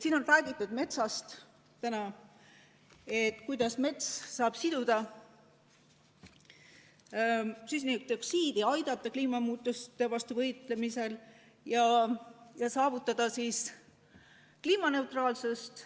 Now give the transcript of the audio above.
Siin on täna räägitud metsast, sellest, kuidas mets saab siduda süsinikdioksiidi, aidata kliimamuutuste vastu võidelda ja saavutada kliimaneutraalsust.